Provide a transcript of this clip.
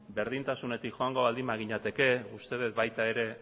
berdintasunetik joango baginateke uste dut baita ere